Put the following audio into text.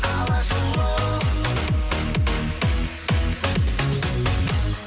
алашұлы